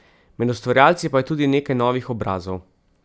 Med ustvarjalci pa je tudi nekaj novih obrazov!